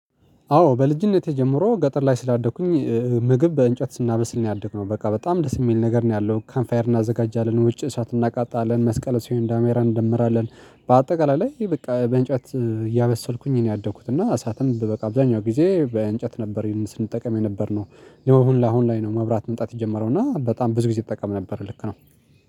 አዎ በልጅነቴ ጀምሮ ገጠር ላይ ስላደኩኝ ምግብ በእንጨት ስናበስል ነው ያደግነው በቃ በጣም ደስ የሚል ነገር ነው ያለው ካንፍ ፋየር እናዘጋጃለን ውጪ እሳት እናቃጣለን መስቀል ሴንዳ ሜራን እንደምራለን። በአጠቃላይ ላይ በቃ በእንጨት እያበሰልኩኝ እኔ ያደኩት እና እሳትም በቃ አብዛኛው ጊዜ በእንጨት ነበር ስንጠቀም የነበርነው። የሆነ አሁን ላይ ነው መብራት መምጣት ይጀምረው እና በጣም ብዙ ጊዜ ይጠቀም ነበር ልክ ነው